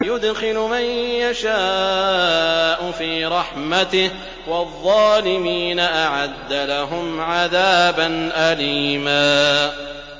يُدْخِلُ مَن يَشَاءُ فِي رَحْمَتِهِ ۚ وَالظَّالِمِينَ أَعَدَّ لَهُمْ عَذَابًا أَلِيمًا